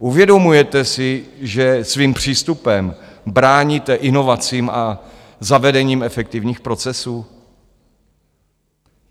Uvědomujete si, že svým přístupem bráníte inovacím a zavedením efektivních procesů?